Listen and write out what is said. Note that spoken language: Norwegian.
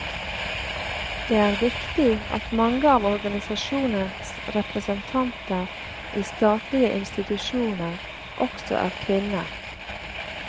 Det er viktig at mange av organisasjonens representanter i statlige institusjoner, også er kvinner.